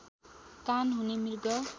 कान हुने मृग